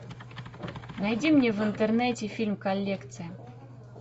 найди мне в интернете фильм коллекция